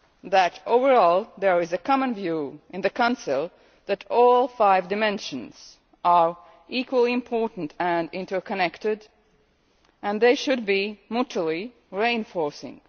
that overall there is a common view in the Council that all five dimensions are equally important and interconnected, and they should be mutually reinforcing.